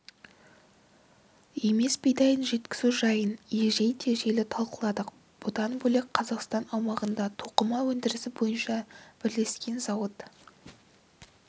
емес бидайын жеткізу жайын егжей-тегжейлі талқыладық бұдан бөлек қазақстан аумағында тоқыма өндірісі бойынша бірлескен зауыт